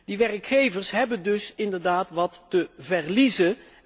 Die werkgevers hebben dus inderdaad wat te verliezen.